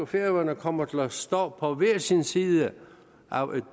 færøerne kommer til at stå på hver sin side af en